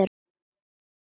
á léttum nótum.